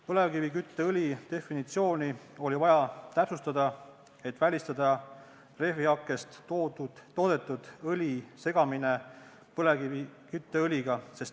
Põlevkivikütteõli definitsiooni oli vaja täpsustada, et välistada rehvihakkest toodetud õli segamine põlevkivikütteõliga.